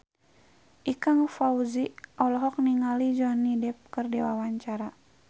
Ikang Fawzi olohok ningali Johnny Depp keur diwawancara